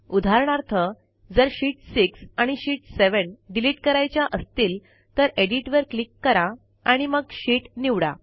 उदाहरणार्थ जर शीत 6 आणि शीत 7 डिलिट करायच्या असतील तर एडिट वर क्लिक करा आणि मग शीत निवडा